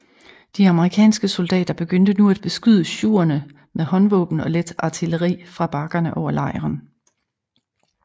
De amerikanske soldater begyndte nu at beskyde siouxerne med håndvåben og let artilleri fra bakkerne over lejren